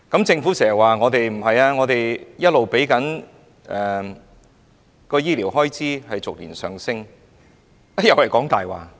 政府經常說，我們的醫療開支逐年上升，但這又是謊話。